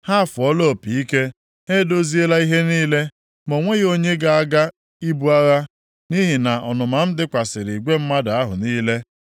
“ ‘Ha afụọla opi ike, ha edoziela ihe niile ma o nweghị onye ga-aga ibu agha nʼihi na ọnụma m dịkwasịrị igwe mmadụ ahụ niile.